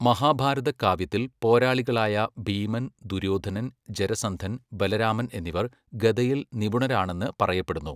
മഹാഭാരത കാവ്യത്തിൽ, പോരാളികളായ ഭീമൻ, ദുര്യോധനൻ, ജരസന്ധൻ, ബലരാമൻ എന്നിവർ ഗദയിൽ നിപുണരാണെന്ന് പറയപ്പെടുന്നു.